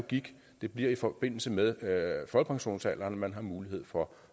det bliver i forbindelse med at folkepensionsalderen at man har mulighed for